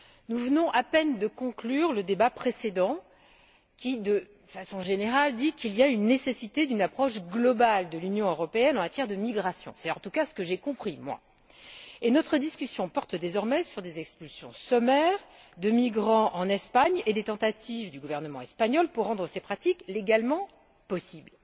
Nous venons à peine de conclure le débat précédent qui, de façon générale, rend compte de la nécessité d'une approche globale de l'Union européenne en matière de migration. C'est en tout cas ce que j'ai compris, et notre discussion porte désormais sur des expulsions sommaires de migrants en Espagne et sur les tentatives du gouvernement espagnol pour rendre ces pratiques légalement possibles.